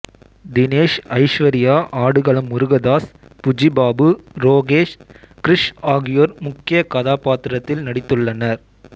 தினேஷ் ஐஸ்வர்யா ஆடுகளம் முருகதாஸ் புச்சி பாபு ரோகேஷ் கிருஷ் ஆகியோர் முக்கியக் கதாப்பாத்திரத்தில் நடித்துள்ளனர்